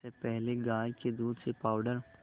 इससे पहले गाय के दूध से पावडर